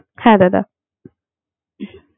হ্যা দাদা